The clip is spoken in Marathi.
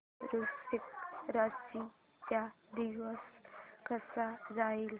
आज वृश्चिक राशी चा दिवस कसा जाईल